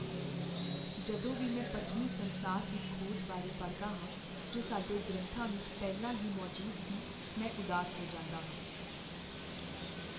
ਜਦੋਂ ਵੀ ਮੈਂ ਪੱਛਮੀ ਸੰਸਾਰ ਦੀ "ਖੋਜ" ਬਾਰੇ ਪੜ੍ਹਦਾ ਹਾਂ ਜੋ ਸਾਡੇ ਗ੍ਰੰਥਾਂ ਵਿੱਚ ਪਹਿਲਾਂ ਹੀ ਮੌਜੂਦ ਸੀ, ਮੈਂ ਉਦਾਸ ਹੋ ਜਾਂਦਾ ਹਾਂ।